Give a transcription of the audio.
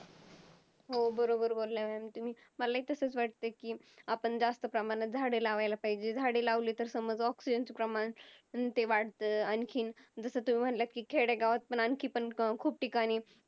हो बरोबर बोल्ला Mam तुम्ही मलाही तसच वाटतंय कि आपण जास्त प्रमाणात झाड लावला पाहिजेत. झाडे लावली तर समज Oxigen च प्रमाण ते वाढत आणखीन जसा कि तुम्ही म्हणलात खेडे गावातपण आणखीन खूप ठिकाणी